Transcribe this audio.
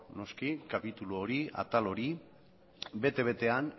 noski kapitulu hori atal hori bete betean